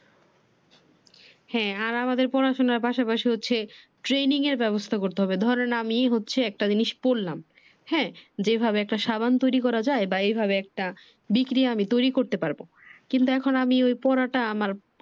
হ্যা আর আমাদের পড়াশুনার পাশাপাশি হচ্ছে training এর ব্যবস্থা করতে হবে। ধরেন আমি হচ্ছে একটা জিনিস পড়লাম হ্যা যে এভাবে একটা সাবান তৈরী করা যায় বা এইভাবে একটা বিক্রিয়া আমি তৈরী করতে পারবো। কিন্তু এখন আমি ওই পড়াটা আমার